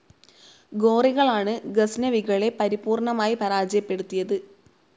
ഗോറികളാണ് ഗസ്നവികളെ പരിപൂർണമായി പരാജയപ്പെടുത്തിയത്.